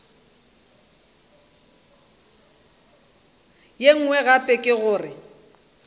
ye nngwe gape ke gore